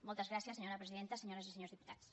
moltes gràcies senyora presidenta senyores i senyors diputats